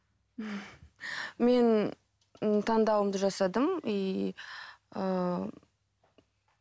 мен ііі таңдауымды жасадым иии